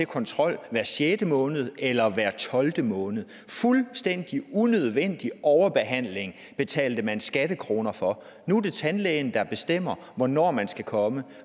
kontrolleres hver sjette måned eller hver tolvte måned fuldstændig unødvendig overbehandling betalte man skattekroner for nu er det tandlægen der bestemmer hvornår man skal komme